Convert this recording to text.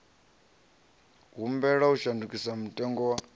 humbela u shandukisa mutengo wa